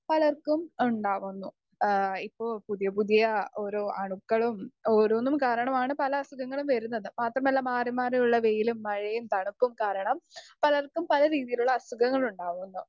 speaker 2 പലർക്കും ഉണ്ടാകുന്നു എഹ് ഇപ്പൊ പുതിയ പുതിയ ഓരോ അണുക്കളും ഓരോന്നും കാരണമാണ് പല അസുഖങ്ങളും വരുന്നത് മാത്രമല്ല മാറി മാറിയുള്ള വെയിലും മഴയും തണുപ്പും കാരണം പലർക്കും പല രീതിയിലുള്ള അസുഖങ്ങൾ ഉണ്ടാവുന്നു